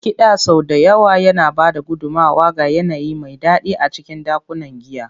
Kiɗa sau da yawa yana ba da gudummawa ga yanayi mai daɗi a cikin ɗakunan giya.